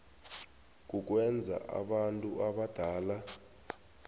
kukwenza abantu abadala